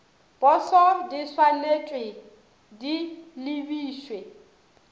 poso di swanetšwe di lebišwe